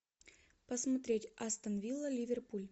посмотреть астон вилла ливерпуль